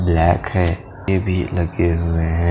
Black हैं TV लगे हुए हैं।